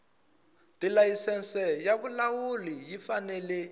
tilayisense ya vulawuli yi fanele